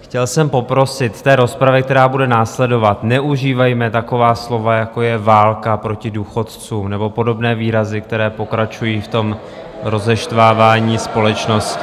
chtěl jsem poprosit v té rozpravě, která bude následovat, neužívejme taková slova, jako je válka proti důchodcům nebo podobné výrazy, které pokračují v tom rozeštvávání společnosti.